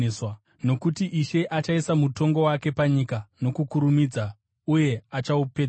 Nokuti Ishe achaisa mutongo wake panyika nokukurumidza uye achaupedzisa.”